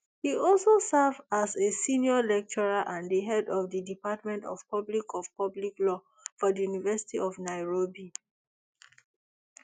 e also serve as a senior lecturer and di head of di department of public of public law for di university of nairobi